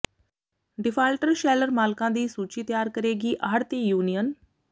defaulter sheller ਮਾਲਕਾਂ ਦੀ ਸੂਚੀ ਤਿਆਰ ਕਰੇਗੀ ਆੜ੍ਹਤੀ ਯੂਨੀਅਨ